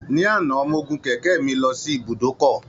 Ní àná, mo gun kẹ̀kẹ́ mi lọ sí ibùdókọ̀